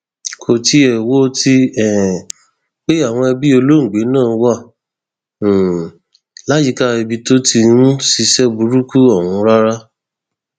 kò tiẹ wo ti um pé àwọn ẹbí olóògbé náà wà um láyìíká ibi tó ti ń ṣiṣẹ burúkú ọhún rárá